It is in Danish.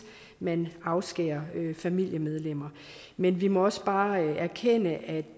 man afskærer familiemedlemmer men vi må også bare erkende at